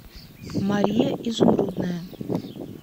мария изумрудная